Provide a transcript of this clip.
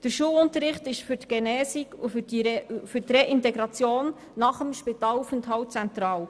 Der Schulunterricht ist für die Genesung und für die Reintegration nach dem Spitalaufenthalt zentral.